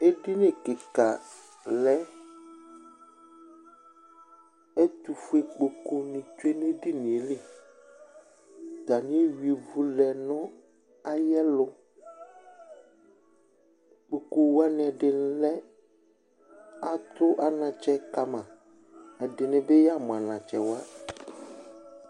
Edini kika lɛ, ɛtʋfue kpokuni tsue n'edini yɛ li Atani eyuia ivi lɛ nʋ ayɛlʋ, ikpoku wani ɛdi lɛ, atʋ anatsɛ kama, ɛdini bi yamʋ anatsɛ wa